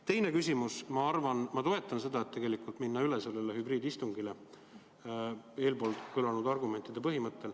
Teine küsimus: ma toetan ettepanekut minna üle hübriidistungile eespool kõlanud argumentidest lähtudes.